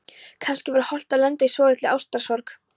Kannski var hollt að lenda í svolítilli ástarsorg.